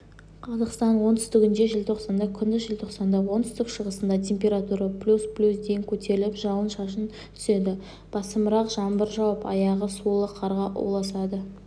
қазақстанның оңтүстігінде желтоқсанда күндіз желтоқсанда оңтүстік-шығысында температура плюс плюс дейін көтеріліп жауын-шашын түседі басымырақ жаңбыр жауып аяғы сулы қарға ұласады